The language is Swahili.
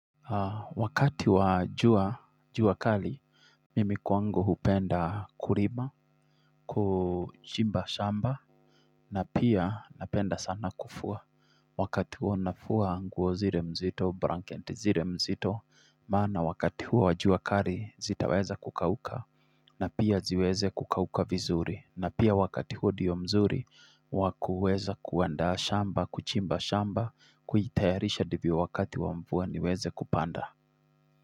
Wakati wa jua jua kali, mimi kwangu hupenda kurima, kuchimba shamba, na pia napenda sana kufua. Wakati huo nafua nguo zire mzito, branket zire mzito, maana wakati huo wajua kari zitaweza kukauka, na pia ziweze kukauka vizuri, na pia wakati huo ndiyo mzuri, wa kuweza kuanda shamba, kuchimba shamba, kujitayarisha ndivyo wakati wa mvua niweze kupanda.